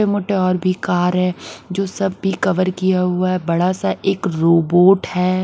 ये मोटे और भी कार है जो सब भी कर किया हुआ है बड़ा सा एक रोबोट है।